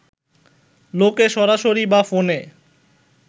লোকে সরাসরি বা ফোনে